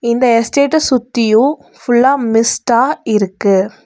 இந்த ஸ்டேட்டெ சுத்தியும் ஃபுல்லா மிஸ்டா இருக்கு.